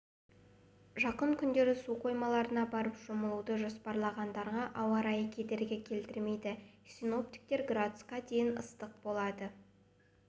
жақын күндері су қоймаларына барып шомылуды жоспарлағандарға ауа райы кедергі келтірмейді синоптиктер градусқа дейін ыстық болады